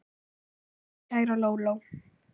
Takk fyrir allt, kæra Lóló.